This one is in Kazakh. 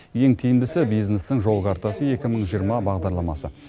ең тиімдісі бизнестің жол картасы екі мың жиырма бағдарламасы